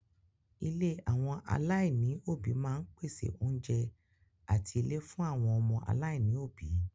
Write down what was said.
Ilé àwọn aláìní òbí máa ń pèsè oúnjẹ àti ilé fún àwọn ọmọ aláìní òbí.